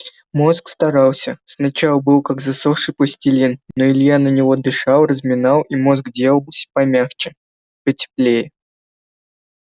мозг старался сначала был как засохший пластилин но илья на него дышал разминал и мозг делался помягче потеплей